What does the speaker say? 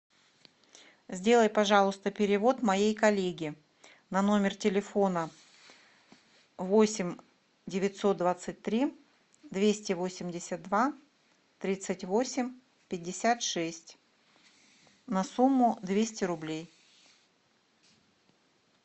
сделай пожалуйста перевод моей коллеге на номер телефона восемь девятьсот двадцать три двести восемьдесят два тридцать восемь пятьдесят шесть на сумму двести рублей